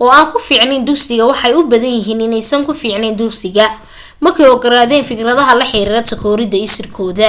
oo aan ku fiicneyn dugsiga waxay u badan yahay inaysan ku fiicneyn dugsiga markey ogaadeen fikradaha la xiriirta takoorida isirkooda